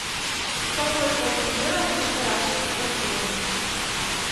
какой сорт инжира лучше выращивать в квартире